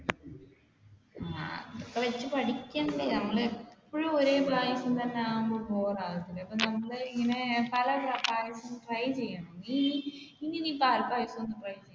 ഇതൊക്കെ വെച്ച് പഠിക്കണ്ടേ എപ്പോഴും ഒരേ പായസം തന്നെ ആവുമ്പോൾ bore ആവില്ലേ ഇനി നീ പാൽപായസം